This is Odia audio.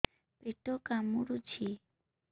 ପେଟ କାମୁଡୁଛି